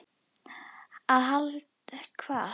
Aðhald hvað?